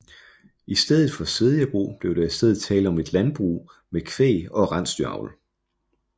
I stedet for svedjebrug blev der i stedet tale om et landbrug med kvæg og rensdyravl